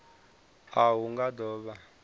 a hu nga do vha